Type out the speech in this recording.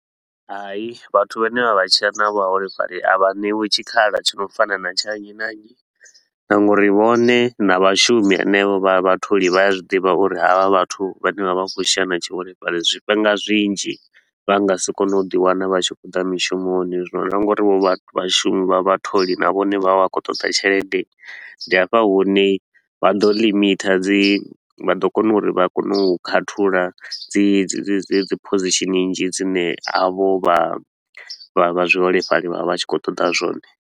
Hai, vhathu vhane vha vha tshila na vhuholefhali a vha ṋewi tshikhala tshi no fana na tsha nnyi na nnyi. Na nga uri vhone na vhashumi henevho vha vhatholi vha a zwi ḓivha uri havha vhathu vha ne vha vha khou tshila na tshiholefhali, zwifhinga zwinzhi vha nga si kone u ḓi wana vha tshi khou ḓa mishumoni. Zwino na nga uri vho vhashumi vha vhatholi na vhone vha vha khou ṱoḓa tshelede, ndi hafha hune vha ḓo limiter dzi vha ḓo kona uri vha kone u khathulo dzi dzi dzi dzi dzi position nnzhi dzine havho vha vha vha zwiholefhali vha vha vha tshi khou ṱoḓa zwone.